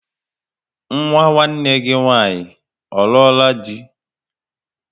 Nwa nwanne gị nwaanyị ọ ruola di?